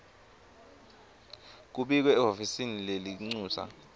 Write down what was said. kubikwe ehhovisi lelincusa